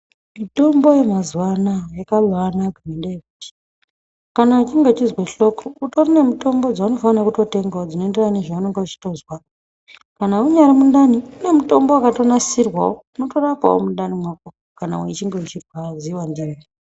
Mitombo yemazuwa anaya yakabaanaka ngendaa yekuti kana uchinge uchizwe hloko, kutori nemitombo dzaunofanira kutotengawo dzinoenderana nezvaunonga uchitozwa. Kana munyari mundani kune mitombo wakatonasirwawo unorapawo mundani mwako, kana wechinge uchirwadziwa ndimwo.